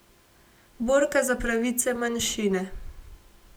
Borka za pravice manjšine.